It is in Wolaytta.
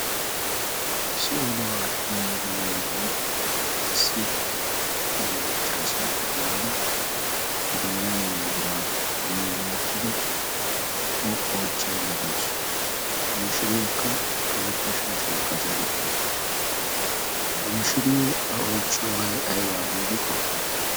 Issi oduwa aattiya yelaga na'eyiya issi he maccaasee qobaada idoonan maygiraaponi woottada o oichchain da doosu mamishiriyaakka karetta shaashia qacau uttaasu mamishiriyo a oychchiyoobay aybaa giidi qoppeetii?